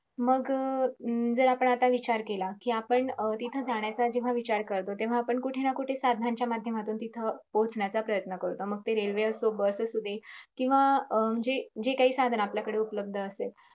मग हम्म जर आपण आत्ता विचार केला कि अं आपण तिथे जाण्याचा जेव्हा विचार करतो तेव्हा आपण कुठेनाकुठे साधनांच्या माध्यमातून तिथ पोहचण्याचा प्रयन्त करतो. मग ते रेल्वे असो बस असुदे किंव्हा जे जे काही साधन आपल्याकडे उपलब्ध असेल.